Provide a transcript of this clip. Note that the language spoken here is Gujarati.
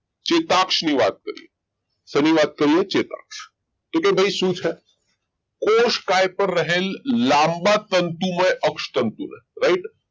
ચેતાક્ષ ની વાત કરીએ શેની વાત કરીએ ચેતાક્ષ તો કે ભાઈ શું છે કોષકાય પર રહેલ લાંબા તંતુમય અક્ષ તંતુમય right